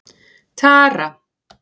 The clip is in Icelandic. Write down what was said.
Tara